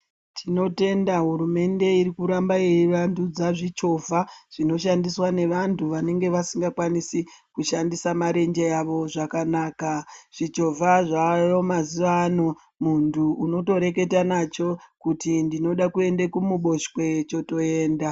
Tinotenda hurumende iri kuramba yeivandudza zvichovha zvinoshandiswa nevantu vanenge vasisingakwanise kushandisa marenje awo zvakanaka zvichovha zvaayo mazuva ano muntu unotoreketa nacho kuti ndinoda kuenda kumuboshwe chotoenda.